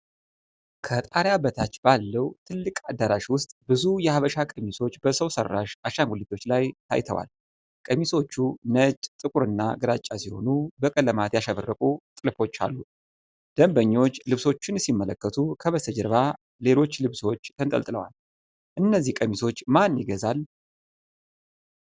ከጣሪያ በታች ባለው ትልቅ አዳራሽ ውስጥ ብዙ የሀበሻ ቀሚሶች በሰው ሰራሽ አሻንጉሊቶች ላይ ታይተዋል። ቀሚሶቹ ነጭ፣ ጥቁር እና ግራጫ ሲሆኑ በቀለማት ያሸበረቁ ጥልፎች አሉ። ደንበኞች ልብሶቹን ሲመለከቱ ከበስተጀርባ ሌሎች ልብሶች ተንጠልጥለዋል። እነዚህን ቀሚሶች ማን ይገዛል?